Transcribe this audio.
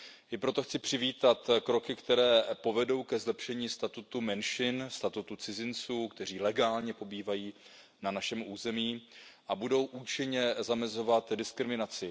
I proto chci přivítat kroky, které povedou ke zlepšení statutu menšin, statutu cizinců, kteří legálně pobývají na našem území, a budou účinně zamezovat diskriminaci.